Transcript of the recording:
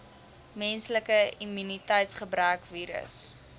menslike immuniteitsgebrekvirus